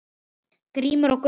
Grímur og Gunnar.